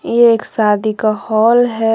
एक शादी का हाल है।